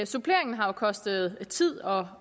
suppleringen har kostet tid og